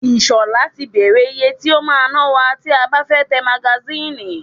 Ìṣọ̀lá ti bèrè ìyè tí o máa ná wa tí a bá fẹ́ tẹ magasínì.